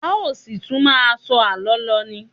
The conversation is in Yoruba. A ó ṣì tún máà sọ àlọ́ lọ ni.